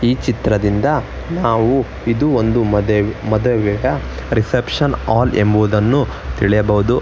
ಈ ಚಿತ್ರದಿಂದ ನಾವು ಇದು ಒಂದು ಮದೆ ಮದುವೆಯ ರಿಸೆಪ್ಶನ್ ಹಾಲ್ ಎಂಬುದನ್ನು ತಿಳಿಯಬಹುದು.